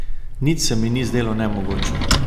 Nič se mi ni zdelo nemogoče.